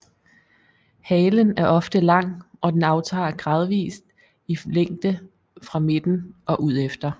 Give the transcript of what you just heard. Halen er ofte lang og den aftager gradvist i længde fra midten og udefter